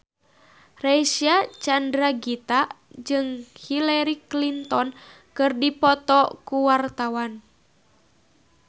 Reysa Chandragitta jeung Hillary Clinton keur dipoto ku wartawan